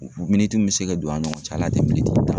bɛ se ka don a ni ɲgɔn cɛ hali a tɛ tan bɔ.